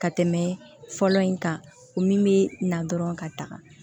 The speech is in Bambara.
Ka tɛmɛ fɔlɔ in kan o min bɛ na dɔrɔn ka taga